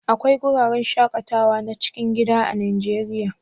Akwai wuraren shaƙatawa na cikin gida a Najeriya?